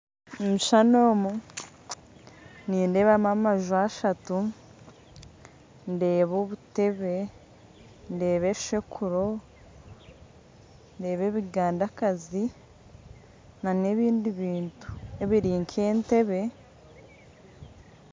Omukishushani omu nindeebamu amaju ashatu ndeebamu obuteebe ndeeba, enshekuro ndeeba ebigandakazi nana ebindi bintu ebiri nk'entebe